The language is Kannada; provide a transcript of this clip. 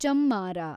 ಚಮ್ಮಾರ